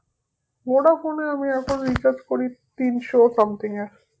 Vodafone এ আমি এখন recharge করি তিনশো something এর